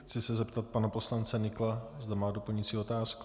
Chci se zeptat pana poslance Nykla, zda má doplňující otázku.